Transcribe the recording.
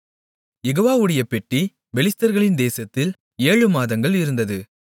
யெகோவாவுடைய பெட்டி பெலிஸ்தர்களின் தேசத்தில் ஏழு மாதங்கள் இருந்தது